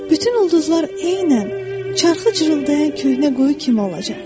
Bütün ulduzlar eynən çaxı cırıldayan köhnə quyu kimi olacaq.